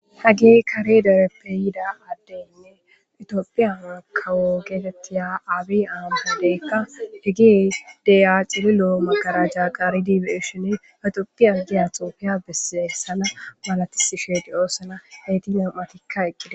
Hagey Kare dereppe yida adetinne Ethiopia kawo getetiya abiy ahmedeyka cililo magaraja qaari beyishin, ha Ethiopia giya xufiya malatishe de'osona, nam'atika eqida.